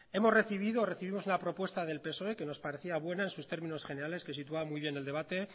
hemos recibido o recibimos unas propuestas del psoe que nos parecían buenas en sus términos generales que situaba muy bien el debate